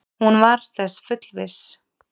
Hún var þess fullviss.